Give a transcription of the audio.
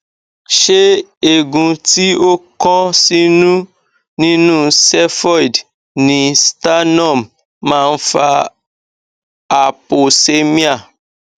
ṣé eegun ti o kan sinu ninú xephoid ni sternum ma n fa hypoxemia